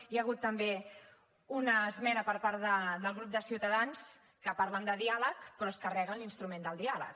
hi ha hagut també una esmena per part del grup de ciutadans que parlen de diàleg però es carreguen l’instrument del diàleg